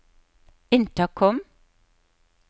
intercom